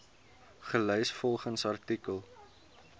gelys volgens titel